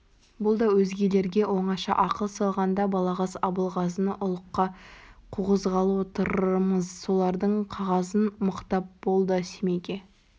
бұл өзгелерге оңаша ақыл салғанда балағаз абылғазыны ұлыққа қуғызғалы отырмыз солардың қағазын мықтап бол да семейге